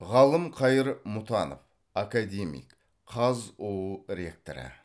ғалымқайыр мұтанов академик қазұу ректоры